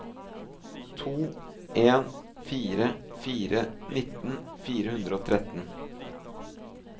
to en fire fire nitten fire hundre og tretten